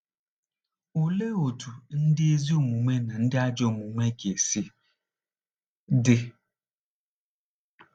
Olee otú ndị ezi omume na ndị ajọ omume ga-esi dị?